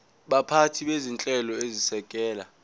baphathi bezinhlelo ezisekela